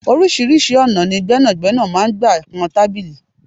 Oríṣiríṣi ọ̀nà ni gbẹ́nàgbẹ́nà máa ń gbà kan tábìlì.